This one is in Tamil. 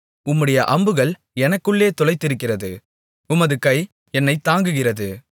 உம்முடைய அம்புகள் எனக்குள்ளே துளைத்திருக்கிறது உமது கை என்னைத் தாங்குகிறது